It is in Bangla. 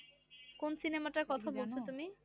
কোন সিনেমাটার কথা বলছো তুমি?